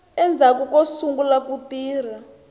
endzhaku ko sungula ku tirha